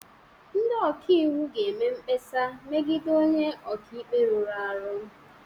Ndị ọka iwu ga-eme mkpesa megide onye ọka ikpe rụrụ arụ